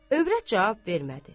Övrət cavab vermədi.